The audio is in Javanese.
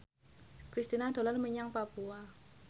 Kristina dolan menyang Papua